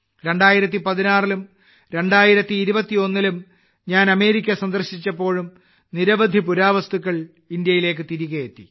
2016 ലും 2021 ലും ഞാൻ അമേരിക്ക സന്ദർശിച്ചപ്പോഴും നിരവധി പുരാവസ്തുക്കൾ ഇന്ത്യയിലേക്ക് തിരികെയെത്തി